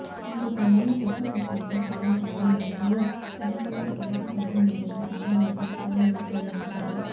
వారు కొన్ని గడ్డ కట్టించే కారకాలు మరియు ఫలకికలు మరింత కారణంతో తో రూపొందించబడి